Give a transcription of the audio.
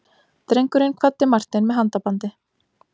Drengurinn kvaddi Martein með handabandi.